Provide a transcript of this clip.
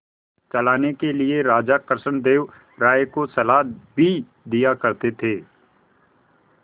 चलाने के लिए राजा कृष्णदेव राय को सलाह भी दिया करते थे